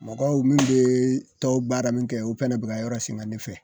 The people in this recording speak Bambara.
Mɔgɔw min bee tɔn baara min kɛ u fɛnɛ bɛ ka yɔrɔ siŋa ne fɛ.